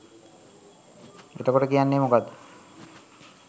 එතකොට කියන්නෙ මොකක්ද?